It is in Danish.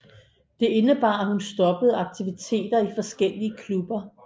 Det indebar at hun stoppede aktiviteter i forskellige klubber